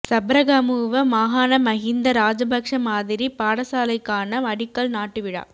சப்ரகமுவ மாகாண மஹிந்த ராஜபக்ஷ மாதிரிப் பாடசாலைக்கான அடிக்கல் நாட்டு விழா